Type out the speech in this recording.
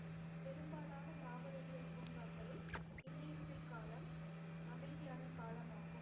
பெரும்பாலான தாவரவியல் பூங்காக்களில் இலையுதிர் காலம் அமைதியான காலமாகும்